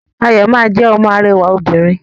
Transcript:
Ayọ ma jẹ ọmọ arẹwà òbinrín.